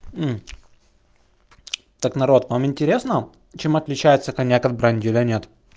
так народ вам интересного чем отличается коньяк от бренди или нет